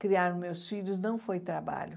Criar meus filhos não foi trabalho.